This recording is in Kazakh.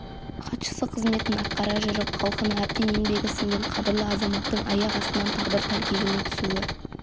хатшысы қызметін атқара жүріп халқына әбден еңбегі сіңген қадірлі азаматтың аяқ астынан тағдыр тәлкегіне түсуі